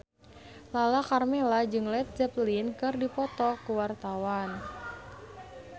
Lala Karmela jeung Led Zeppelin keur dipoto ku wartawan